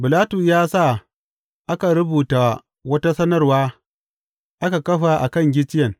Bilatus ya sa aka rubuta wata sanarwa aka kafa a kan gicciyen.